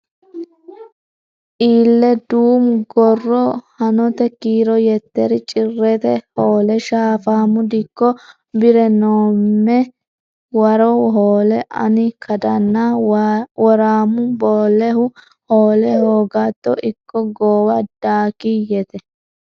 Ille duumu gorro Hanote Kiiro Yetteri Cirrete Hoole Shaafaamu dikko Bi’re noomme waro Hoole ani kadanna Woraamu Boollehu Hoole hoogatto ikko Goowa daakiyyete.